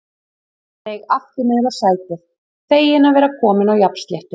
Ég seig aftur niður á sætið, feginn að vera kominn á jafnsléttu.